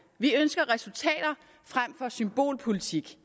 vi ønsker resultater frem for symbolpolitik